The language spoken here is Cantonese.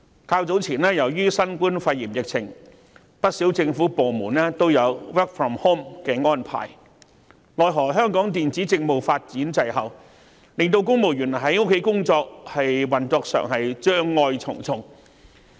較早前，由於新冠肺炎疫情的影響，不少政府部門均實施 work from home 的安排，奈何香港電子政務發展滯後，令公務員在家工作時，運作上障礙重重。